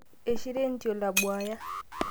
eishira entiol abuaya